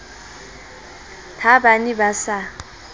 ha ba ne ba sa